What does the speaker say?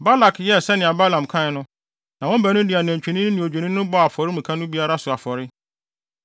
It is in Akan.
Balak yɛɛ sɛnea Balaam kae no, na wɔn baanu no de nantwinini ne odwennini bɔɔ afɔremuka no biara so afɔre.